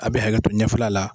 A be haketo ɲɛfɛla la.